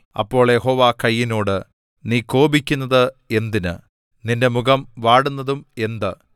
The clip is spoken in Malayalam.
അപ്പോൾ യഹോവ കയീനോട് നീ കോപിക്കുന്നത് എന്തിന് നിന്റെ മുഖം വാടുന്നതും എന്ത്